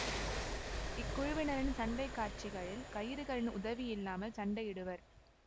இக்குழுவினரின் சண்டை காட்சிகளில் கயிறுகளின் உதவியில்லாமல் சண்டையிடுவர்